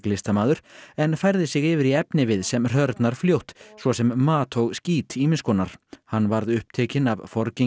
grafíklistamaður en færði sig yfir í efnivið sem hrörnar fljótt svo sem mat og skít ýmiss konar hann varð upptekinn af